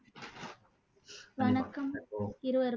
வணக்கம் இருவருக்கும்